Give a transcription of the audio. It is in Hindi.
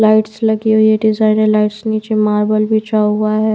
लाइट्स लगी हुई है डिजाइनर लाइट्स नीचे मार्बल बिछा हुआ है।